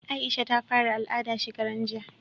Aisha ta fara al'ada shekaran jiya